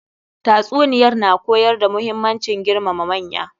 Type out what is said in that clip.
Tatsuniyar na koyar da muhimmancin girmama manya.